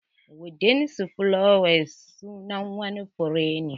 Wild sunflower sunan wani fure ne.